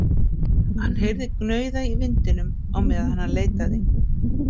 Hann heyrði gnauða í vindinum á meðan hann leitaði.